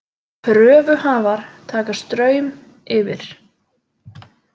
Kröfuhafar taka Straum yfir